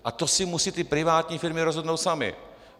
A to si musí ty privátní firmy rozhodnout samy.